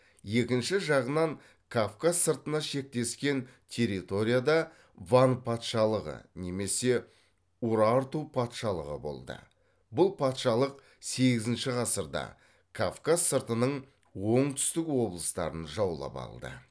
екінші жағынан кавказ сыртына шектескен территорияда ван патшалығы немесе урарту патшалығы болды бұл патшалық сегізінші ғасырда кавказ сыртының оңтүстік облыстарын жаулап алды